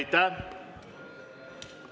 Aitäh!